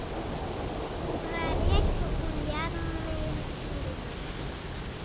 смотреть популярные фильмы